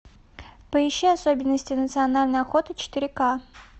поищи особенности национальной охоты четыре ка